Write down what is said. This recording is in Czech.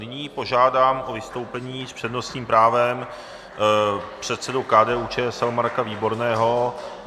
Nyní požádám o vystoupení s přednostním právem předsedu KDU-ČSL Marka Výborného.